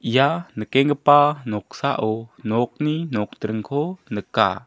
ia nikenggipa noksao nokni nokdringko nika.